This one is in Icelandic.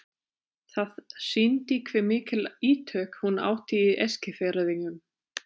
Það sýndi hve mikil ítök hún átti í Eskfirðingum.